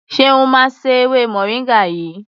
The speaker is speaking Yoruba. Ṣeun máa se ewé moringa yìí.